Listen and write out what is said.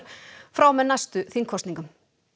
frá og með næstu þingkosningum